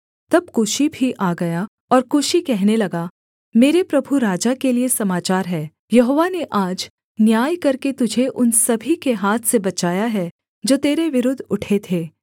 तब कूशी भी आ गया और कूशी कहने लगा मेरे प्रभु राजा के लिये समाचार है यहोवा ने आज न्याय करके तुझे उन सभी के हाथ से बचाया है जो तेरे विरुद्ध उठे थे